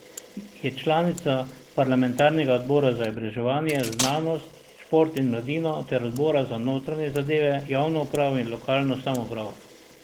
Je članica parlamentarnega odbora za izobraževanje, znanost, šport in mladino ter odbora za notranje zadeve, javno upravo in lokalno samoupravo.